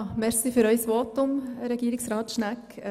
Danke für Ihr Votum, Regierungsrat Schnegg.